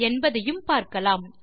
என்பதையும் பார்க்கலாம்